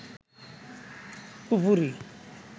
কুফরি